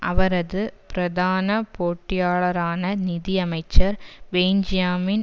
அவரது பிரதான போட்டியாளரான நிதியமைச்சர் பென்ஞ்யாமின்